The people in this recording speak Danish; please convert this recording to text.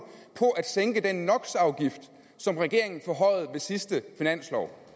på at sænke den nox afgift som regeringen forhøjede ved sidste finanslov